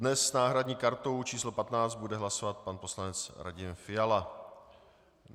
Dnes s náhradní kartou číslo 15 bude hlasovat pan poslanec Radim Fiala.